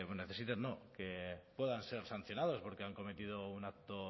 necesiten no que puedan ser sancionados porque han cometido un acto